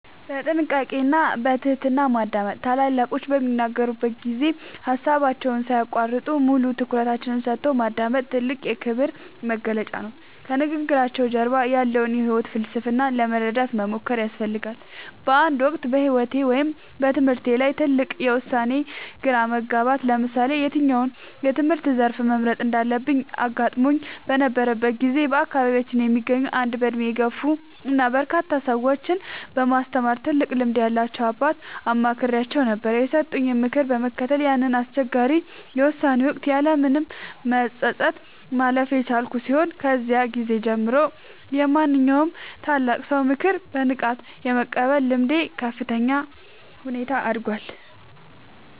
በጥንቃቄ እና በትህትና ማዳመጥ፦ ታላላቆች በሚናገሩበት ጊዜ ሃሳባቸውን ሳይያቋርጡ፣ ሙሉ ትኩረትን ሰጥቶ ማዳመጥ ትልቁ የክብር መግለጫ ነው። ከንግግራቸው ጀርባ ያለውን የህይወት ፍልስፍና ለመረዳት መሞከር ያስፈልጋል። በአንድ ወቅት በህይወቴ ወይም በትምህርቴ ላይ ትልቅ የውሳኔ ግራ መጋባት (ለምሳሌ የትኛውን የትምህርት ዘርፍ መምረጥ እንዳለብኝ) አጋጥሞኝ በነበረበት ጊዜ፣ በአካባቢያችን የሚገኙ አንድ በእድሜ የገፉ እና በርካታ ሰዎችን በማስተማር ትልቅ ልምድ ያላቸውን አባት አማክሬአቸው ነበር። የሰጡኝን ምክር በመከተል ያንን አስቸጋሪ የውሳኔ ወቅት ያለምንም መጸጸት ማለፍ የቻልኩ ሲሆን፣ ከዚያ ጊዜ ጀምሮ የማንኛውንም ታላቅ ሰው ምክር በንቃት የመቀበል ልምዴ በከፍተኛ ሁኔታ አድጓል።